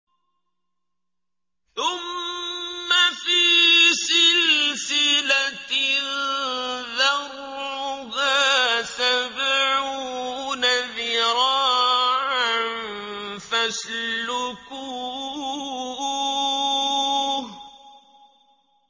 ثُمَّ فِي سِلْسِلَةٍ ذَرْعُهَا سَبْعُونَ ذِرَاعًا فَاسْلُكُوهُ